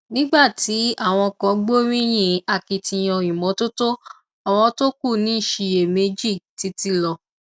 nígbà tí àwọn kan gbóríyìn akitiyan ìmọtótó àwọn tó kù ń ṣiyèméjì títí lọ